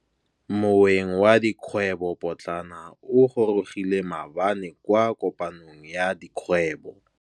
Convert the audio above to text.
Moêng wa dikgwêbô pôtlana o gorogile maabane kwa kopanong ya dikgwêbô.